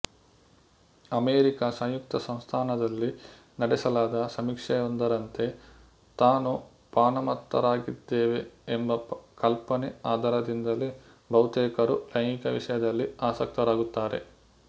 America ಸಂಯುಕ್ತ ಸಂಸ್ಥಾನದಲ್ಲಿ ನಡೆಸಲಾದ ಸಮೀಕ್ಷೆಯೊಂದರಂತೆ ತಾನು ಪಾನಮತ್ತರಾಗಿದ್ದೇವೆ ಎಂಬ ಕಲ್ಪನೆ ಆಧಾರದಿಂದಲೆ ಬಹುತೇಕರು ಲೈಂಗಿಕ ವಿಷಯದಲ್ಲಿ ಆಸಕ್ತರಾಗುತ್ತಾರೆ